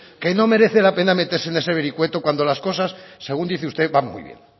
que no merece la pena meterse en ese vericueto cuando las cosas según dice usted van muy bien